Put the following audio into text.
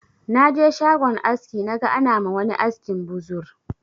Na je shagon aski naga ana ma wani askin buzur